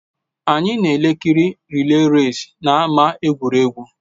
Anyị na-ekiri rịlè resị n'ámá egwuregwu